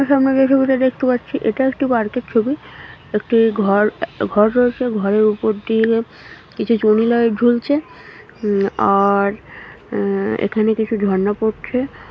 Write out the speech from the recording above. সামনে যে ছবিটা দেখতে পাচ্ছি এটা একটা পার্ক এর ছবি একটি ঘর ঘর রয়েছে ঘরের উপর দিয়ে কিছু চুনি লাইট ঝুলছে আর আ- এখানে কিছু ঝর্ণা পড়ছে।